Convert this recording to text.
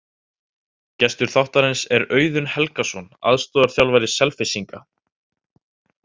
Gestur þáttarins er Auðun Helgason, aðstoðarþjálfari Selfyssinga.